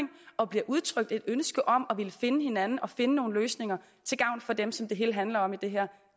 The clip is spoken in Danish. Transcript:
og bliver udtrykt et ønske om at ville finde hinanden og finde nogle løsninger til gavn for dem som det hele handler om i det her